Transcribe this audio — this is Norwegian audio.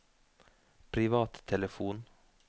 privattelefon